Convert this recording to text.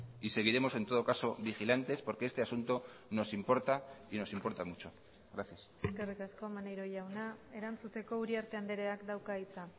y seguiremos en todo caso vigilantes porque este asunto nos importa y nos importa mucho gracias eskerrik asko maneiro jauna erantzuteko uriarte andreak dauka hitza